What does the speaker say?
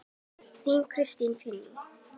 Þín, Kristín Fanný.